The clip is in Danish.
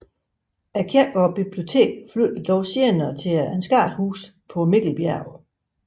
Kirken og biblioteket flyttede dog senere til Ansgarhuset på Mikkelbjerg